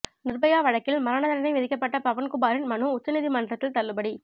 நிர்பயா வழக்கில் மரண தண்டனை விதிக்கப்பட்ட பவன் குமாரின் மனு உச்ச நீதிமன்றத்தில் தள்ளுபடி